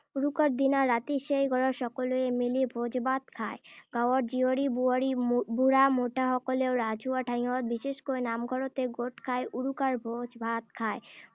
উৰুকাৰ দিনা ৰাতি সেই ঘৰত সকলোৱে মিলি ভোজ-ভাত খায়। গাঁৱৰ জীয়ৰী-বোৱাৰী, উম বুঢ়া-মেঠাসকলেও ৰাজহুৱা ঠাইত, বিশেষকৈ নামঘৰতে গোট খাই উৰুকাৰ ভোজ-ভাত খায়।